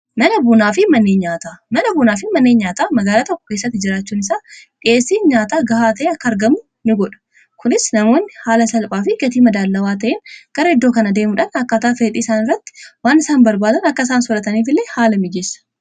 Mana bunaa fi manneen nyaataa. Mana bunaa fi manneen nyaataa magaala tokko keessatti jiraachuun isaa dhi'eessii nyaataa gahaa ta'e akka argamu ni godha. Kunis namoonni haala salphaa fi gatii madaallawaa ta'een gara iddoo kanaa deemuudhaan akkaataa fedhii isaan irratti waan isaan barbaadan akka isaan soorataniif illee haala mijeessa.